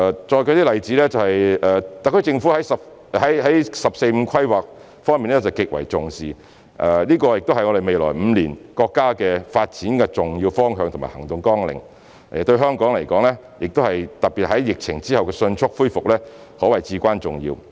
再舉一些例子，特區政府對"十四五"規劃極為重視，這也是國家未來5年發展的重要方向和行動綱領，對香港、特別是疫情後的迅速復原可謂至關重要。